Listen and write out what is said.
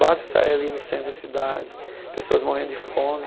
Basta sair ali no centro da cidade, pessoas morrendo de fome.